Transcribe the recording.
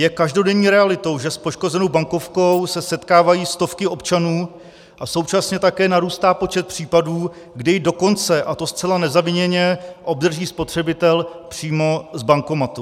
Je každodenní realitou, že s poškozenou bankovkou se setkávají stovky občanů, a současně také narůstá počet případů, kdy ji dokonce - a to zcela nezaviněně - obdrží spotřebitel přímo z bankomatu.